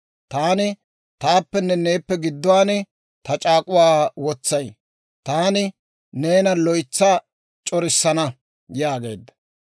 Taani taappenne neeppe gidduwaan ta c'aak'k'uwaa wotsay; taani neena loytsa c'orissana» yaageedda.